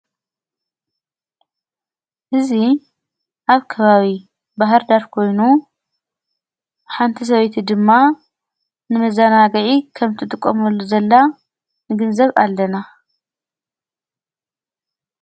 ሕዙ ኣብ ከባዊ ባህርዳርኮይኑ ሓንቲ ሰበይቲ ድማ ንመዛናገኢ ከምቲ ጥቖመሉ ዘላ ንግንዘብ ኣለና።